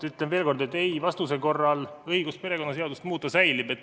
Ütlen veel kord, et ei-vastuse korral õigus perekonnaseadust muuta säilib.